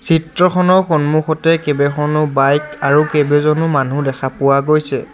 চিত্ৰখনৰ সন্মুখতে কেবেখনো বাইক আৰু কেবেজনো মানুহ দেখা পোৱা গৈছে।